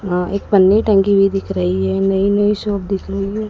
अह एक पन्नी टंगी हुई दिख रही है नई-नई शॉप दिख रही है।